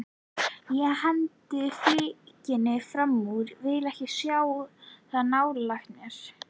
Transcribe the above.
Ég hendi flikkinu framúr, vil ekki sjá það nálægt mér.